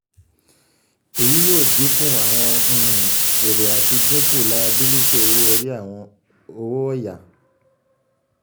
èyí yóò dínkù um àwọn um èrè àti dínkù layabílítì owó-orí owó ọ̀yà